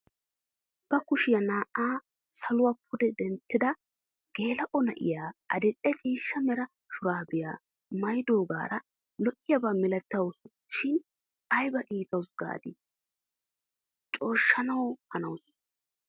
Ba kushiyaa naa"aa saluwaa pude denttida geela'o na'iyaa adil'e ciishsha mera shuraabiyaa maayidoogaara lo"iyaaba milatawus shin ayba iitawus gaadi cooshshanawu hanawus!